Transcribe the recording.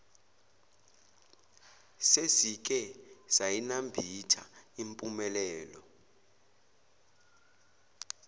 sesike sayinambitha impumelelo